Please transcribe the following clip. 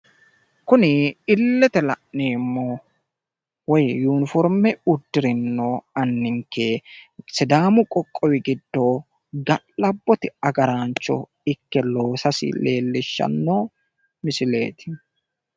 kuni illete la'neemohu woy yuniforme uddire noo anninke sidaamu qoqowi giddo ga'labbote agaraancho ike loosasi leelishanno misileeti.